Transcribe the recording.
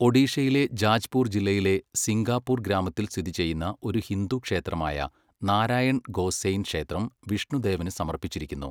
ഒഡീഷയിലെ ജാജ്പൂർ ജില്ലയിലെ സിങ്കാപൂർ ഗ്രാമത്തിൽ സ്ഥിതി ചെയ്യുന്ന ഒരു ഹിന്ദു ക്ഷേത്രമായ നാരായൺ ഗോസെയ്ൻ ക്ഷേത്രം വിഷ്ണുദേവന് സമർപ്പിച്ചിരിക്കുന്നു.